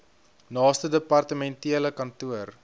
naaste departementele kantoor